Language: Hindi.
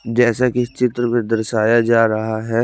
जेसा की इस चित्र में दर्शाया जा रहा है।